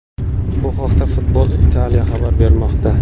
Bu haqda Football Italia xabar bermoqda .